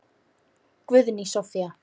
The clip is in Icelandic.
Guðný Soffía.